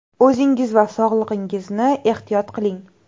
O‘zingiz va sog‘lig‘ingizni ehtiyot qiling!